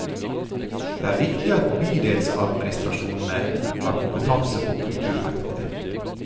Det er viktig at bydelsadministrasjonene har kompetanse på kulturfeltet.